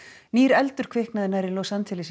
nýr eldur kviknaði nærri Los Angeles